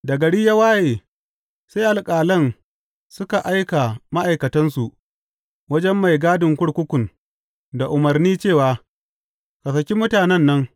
Da gari ya waye, sai alƙalan suka aika ma’aikatansu wajen mai gadin kurkukun da umarni cewa, Ka saki mutanen nan.